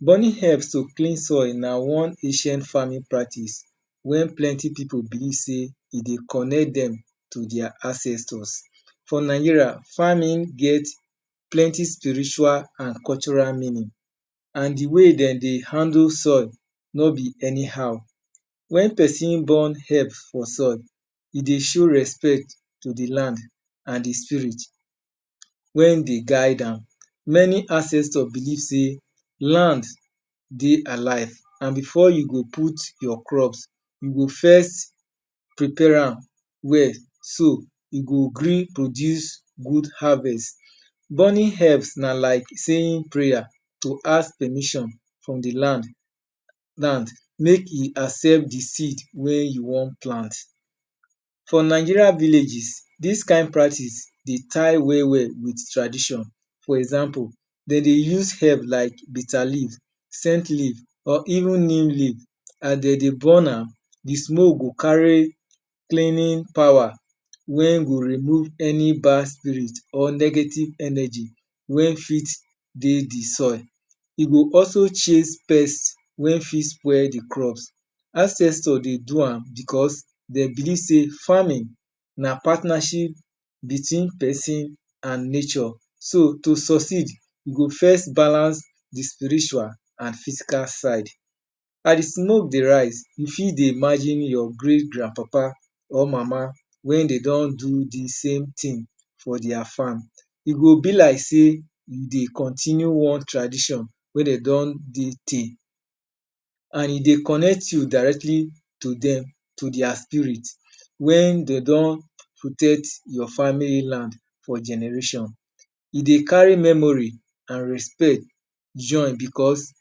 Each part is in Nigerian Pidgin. Burning herbs to clean soil na one ancient farming practice wey plenty pipu believe sey e dey connect dem to dia ancestors. For Nigeria, farming get plenty spiritual an cultural meaning. An the way de dey handle soil no be anyhow. Wen peson burn herb for soil, e dey show respect to the land an the spirit wey dey guide am. Many ancestor believe sey land dey alive an before you go put your crops, you go first prepare am well so e go gree produce good harvest. Burning herbs na like saying prayer to ask permission from the land make e accept the seed wey you wan plant. For Nigeria villages, dis kain practice dey tie well-well with tradition. For example, de dey use herb like bitter leaf scent leaf, or even neem leaf. As de dey burn, the smoke go carry cleaning power wey go remove any bad spirit or negative energy wey fit dey the soil. E go also chase pest wey ft spoil the crops. Ancestor de do am becos dey believe sey farming na partnership between peson an nature. So, to succeed, you go first balance the spiritual an physical side. As the smoke dey rise, you fit dey imagine your great grandpapa or mama wey de don do dis same tin for dia farm. E go be like sey you dey continue one tradition wey de don dey tey. An e dey connect you directly to them, to dia spirit. Wen de don your family land for generation, e dey carry memory an respect join becos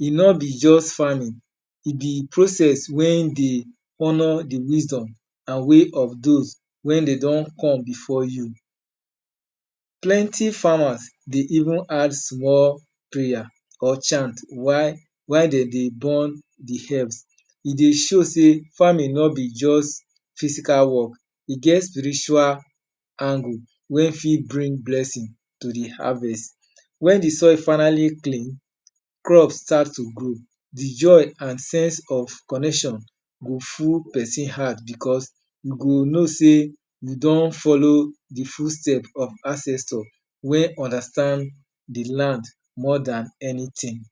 e no be juz farming, e be process wey dey honour the wisdom an way of dos wey dey don come before you. Plenty farmers dey even add small prayer or chant while de dey burn the herbs. E dey show sey farming no be juz physical work, e get spiritual angle wey fit bring blessing to the harvest. Wen the soil finally clean, crops start to grow, the joy an sense of connection go full peson heart becos you go know sey you don follow the footstep of ancestor wey understand the land more than anything.